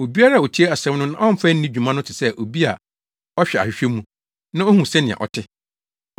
Obiara a otie asɛm no na ɔmfa nni dwuma no te sɛ obi a ɔhwɛ ahwehwɛ mu, na ohu sɛnea ɔte.